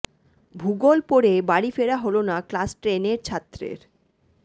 ভূগোল পড়ে বাড়ি ফেরা হল না ক্লাস টেনের ছাত্রের